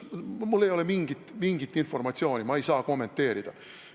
Mul ei ole mingit informatsiooni, ma ei saa seda kommenteerida.